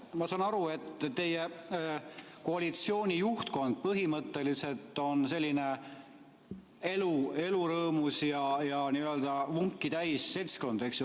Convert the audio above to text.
Ma saan aru, et teie koalitsiooni juhtkond põhimõtteliselt on selline elurõõmus ja n-ö vunki täis seltskond, eks ju.